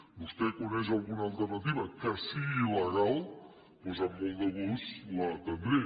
vostè coneix alguna alternativa que sigui legal doncs amb molt de gust l’atendré